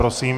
Prosím.